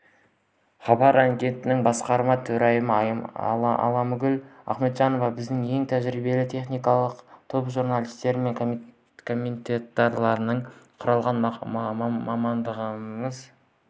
хабар агенттігінің басқарма төрайымы алмагүл ахметжанова біздің ең тәжірибелі техникалық топ журналистер мен комментаторлардан құралған мамандарымыз